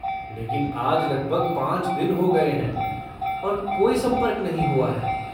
लेकिन आज लगभग पाँच दिन हो गए हैं और कोई संपर्क नहीं हुआ है।